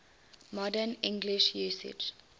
modern english usage